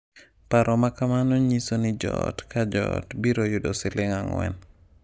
Paro ma kamano nyiso ni joot ka joot biro yudo siling 4.